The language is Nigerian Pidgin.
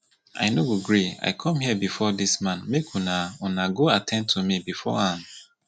i no go gree i come here before dis man and una una go at ten d to me before am